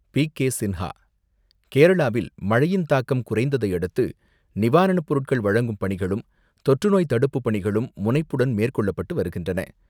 பி.கே.சின்ஹா கேரளாவில், மழையின் தாக்கம் குறைந்ததை அடுத்து, நிவாரண பொருட்கள் வழங்கும் பணிகளும், தொற்றுநோய் தடுப்பு பணிகளும் முனைப்புடன் மேற்கொள்ளப்பட்டு வருகின்றன.